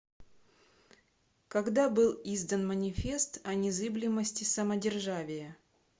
когда был издан манифест о незыблемости самодержавия